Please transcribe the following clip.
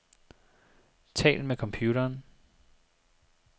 Tal med computeren.